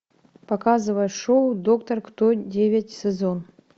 показывай шоу доктор кто девять сезон